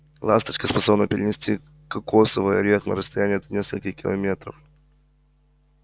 ласточка способна перенести кокосовый орех на расстояние до нескольких километров